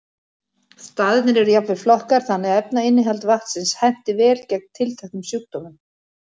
Staðirnir eru jafnvel flokkaðir þannig að efnainnihald vatnsins henti vel gegn tilteknum sjúkdómum.